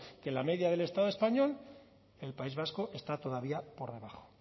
que en la media del estado español el país vasco está todavía por abajo